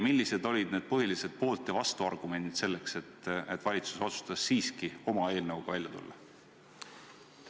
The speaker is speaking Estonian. Millised olid need põhilised poolt- ja vastuargumendid, et valitsus otsustas siiski oma eelnõuga välja tulla?